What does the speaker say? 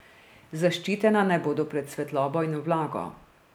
Zaščitena naj bodo pred svetlobo in vlago.